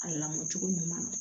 A lamɔ cogo ɲuman na